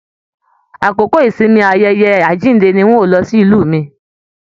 Àkókò ìsinmi ayẹyẹ àjínde ní n o lọ sílù mí.